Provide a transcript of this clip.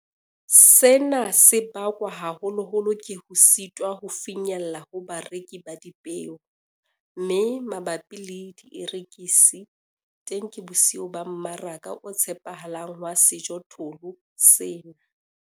Sena se bakwa haholoholo ke ho sitwa ho finyella ho barekisi ba dipeo, mme mabapi le dierekisi, teng ke bosiyo ba mmaraka o tshepahalang wa sejothollo sena.